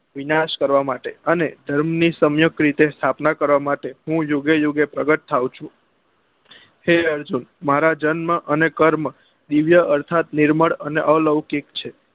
વિનાશ કરવા માટે અને ધર્મ ની સંયુક રીતે સ્થાપના કરવા માટે મુ યુગે યુગે પ્રગટ થાઉં છું હે અર્જુન મારા જન્મ અને કર્મ દિવ્ય અર્થાત નિર્મળ અને અલૌકિક છે